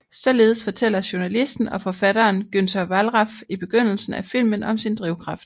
Således fortæller journalisten og forfatteren Günter Wallraff i begyndelsen af filmen om sin drivkraft